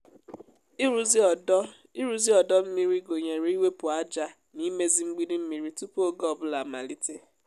ịrụzi ọdọ ịrụzi ọdọ mmiri gụnyere iwepụ ájá na imezi mgbidi mmiri tupu oge ọ bụla amalite.